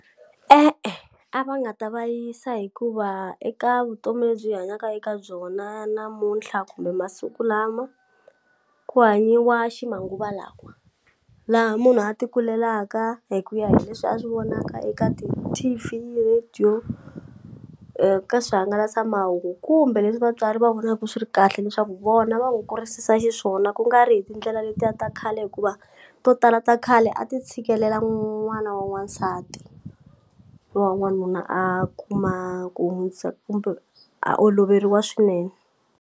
E-e a va nga ta va yisa hikuva eka vutomi lebyi hi hanyaka eka byona namuntlha kumbe masiku lama ku hanyiwa ximanguva lawa laha munhu a ti kulelaka hi ku ya hi leswi a swi vonaka eka ti-T_V, radio ka swihangalasamahungu kumbe leswi vatswari va vonaku swi ri kahle leswaku vona va ku kurisisa xiswona kungari hi tindlela letiya ta khale hikuva to tala ta khale a ti tshikelela n'wana wa n'wansati wa n'wanuna a kuma ku kumbe a oloveriwa swinene.